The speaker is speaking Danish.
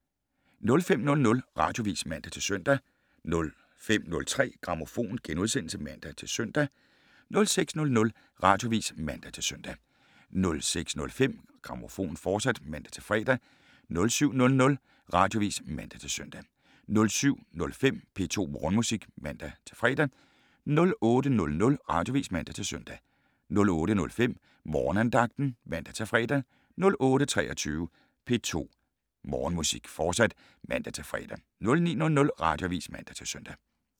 05:00: Radioavis (man-søn) 05:03: Grammofon *(man-søn) 06:00: Radioavis (man-søn) 06:05: Grammofon, fortsat (man-fre) 07:00: Radioavis (man-søn) 07:05: P2 Morgenmusik (man-fre) 08:00: Radioavis (man-søn) 08:05: Morgenandagten (man-fre) 08:23: P2 Morgenmusik, fortsat (man-fre) 09:00: Radioavis (man-søn)